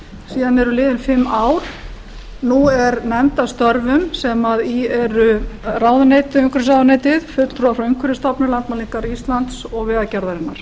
síðan eru liðin fimm ár nú er nefnd að störfum sem í eru umhverfisráðuneytið fulltrúar frá umhverfisstofnun landmælingar íslands og vegagerðarinnar